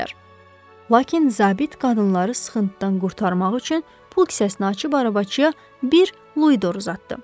Lakin zabit qadınları sıxıntıdan qurtarmaq üçün pul kisəsini açıb arabaçıya bir luidor uzatdı.